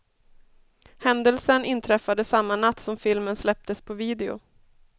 Händelsen inträffade samma natt som filmen släpptes på video.